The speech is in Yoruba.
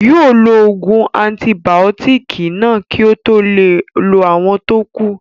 Yóò lo ògùn antibàótìkì náà kí ó tó lo àwọn tó kù